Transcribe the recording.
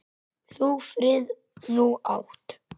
Þú frið nú átt.